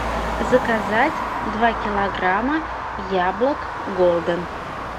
заказать два килограмма яблок голден